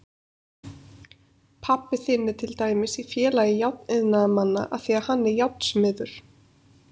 Pabbi þinn er til dæmis í Félagi járniðnaðarmanna af því að hann er járnsmiður.